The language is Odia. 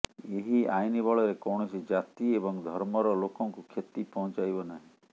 ଏହି ଆଇନ ବଳରେ କୌଣସି ଜାତି ଏବଂ ଧର୍ମର ଲୋକଙ୍କୁ କ୍ଷତି ପହଞ୍ଚାଇବ ନାହିଁ